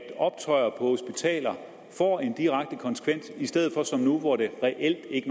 optøjer på hospitaler får en direkte konsekvens i stedet for som nu hvor det reelt ikke